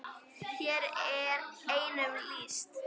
Hér er einum lýst.